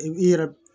I yɛrɛ